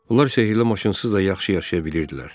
Onlar sehirli maşınsız da yaxşı yaşaya bilirdilər.